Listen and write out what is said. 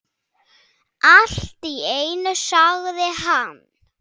Allt í einu sagði hann